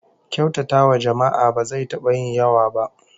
Kyautatawa jama'a ba zai taba yin yawa ba